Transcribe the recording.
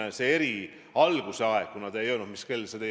Sellest tulenevalt ma Taavi Rõivase küsimusele vastasingi, et minule on Eesti armas.